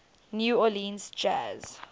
new orleans jazz